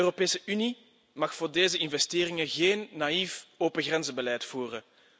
De Europese Unie mag voor deze investeringen geen naïef opengrenzenbeleid voeren.